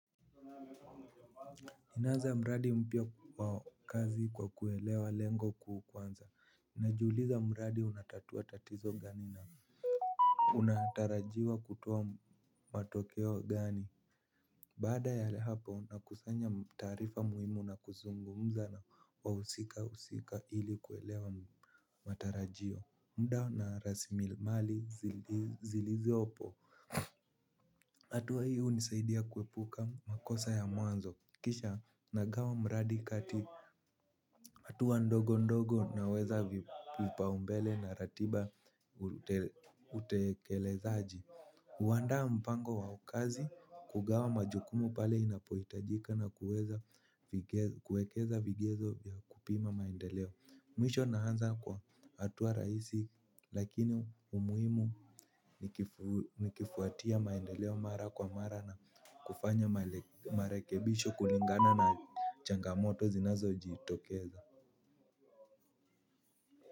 Ninaanza mradi mpya wa kazi kwa kuelewa lengo kuu kwanza, najiuliza mradi unatatua tatizo gani na unatarajiwa kutoa matokeo gani. Baada ya hapo nakusanya taarifa muhimu na kuzungumza na wahusika usika hili kuelewa matarajio. Mudo na rasilimali zilizopo hatua hii hunisaidia kuepuka makosa ya mwanzo. Kisha nagawa mradi kati htua ndogo ndogo naweza vipaombele na ratiba. Utekelezaji huandaa mpango wa kazi. Kugawa majukumu pale inapohitajika na kuwekeza vigezo vya kupima maendeleo. Mwisho naanza kwa hatua rahisi. Lakini umuhimu nikifuatia maendeleo mara kwa mara na kufanya marekebisho kulingana na changamoto zinazo jitokeza.